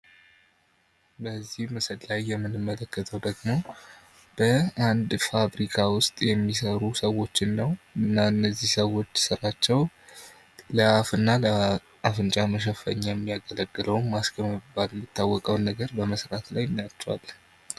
በዚህ ምስል ላይ የምንመለከተው ደግሞ በአንድ ፋብሪካ ውስጥ የሚሰሩ ሰዎችን ነው። እና እነዚህ ሰዎች ስራቸው ለአፍና ለአፍንጫ መሸፈኛ የሚያገለግለውን ማስክ በመባል የሚታወቀውን በመስራት ላይ እናያቸዋለን።